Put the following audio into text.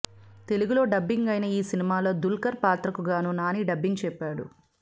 తెలుగులో డబ్బింగ్ అయిన ఈ సినిమాలో దుల్కర్ పాత్రకు గాను నాని డబ్బింగ్ చెప్పాడు